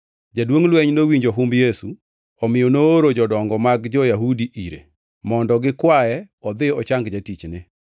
Jaduongʼ lweny nowinjo humb Yesu, omiyo nooro jodongo mag jo-Yahudi ire, mondo gikwaye odhi ochang jatichne.